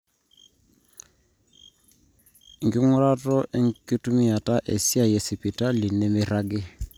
enking'uraroto enkitumiata esiai esipitali nemeiragi